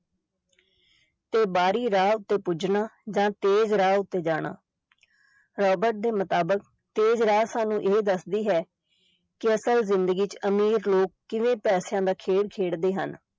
ਤੇ ਬਾਹਰੀ ਰਾਹ ਉੱਤੇ ਪੁੱਜਣਾ ਜਾਂ ਤੇਜ ਰਾਹ ਉੱਤੇ ਜਾਣਾ ਰਾਬਰਟ ਦੇ ਮੁਤਾਬਿਕ ਤੇਜ ਰਾਹ ਸਾਨੂੰ ਇਹ ਦੱਸਦੀ ਹੈ ਕਿ ਅਸਲ ਜ਼ਿੰਦਗੀ ਚ ਅਮੀਰ ਲੋਕ ਕਿਵੇਂ ਪੈਸਿਆਂ ਦਾ ਖੇਡ ਖੇਡਦੇ ਹਨ।